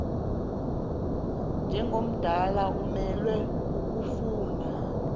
njengomdala umelwe kukofuna